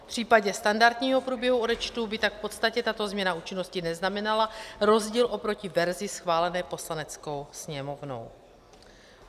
V případě standardního průběhu odečtu by tak v podstatě tato změna účinnosti neznamenala rozdíl oproti verzi schválené Poslaneckou sněmovnou.